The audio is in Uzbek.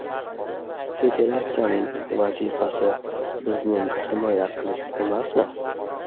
Federatsiyaning vazifasi bizning himoya qilish emasmi?